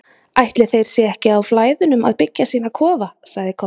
Ætli þeir séu ekki á Flæðunum að byggja sína kofa, sagði Kobbi.